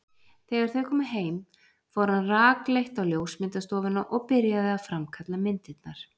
Þegar þau komu heim fór hann rakleitt á ljósmyndastofuna og byrjaði að framkalla myndirnar.